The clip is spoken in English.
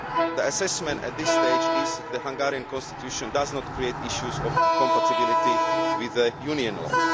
The assessment at this stage is that the Hungarian constitution does not create issues of compatibility with Union law.